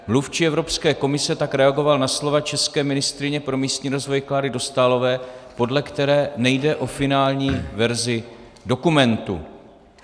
Mluvčí Evropské komise tak reagoval na slova české ministryně pro místní rozvoj Kláry Dostálové, podle které nejde o finální verzi dokumentu.